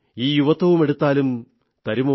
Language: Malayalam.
ഈ യുവത്വവുമെടുത്താലും തരുമോ